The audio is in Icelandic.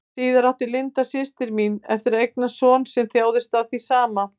Síðar átti Linda, systir mín, eftir að eignast son sem þjáðist af því sama.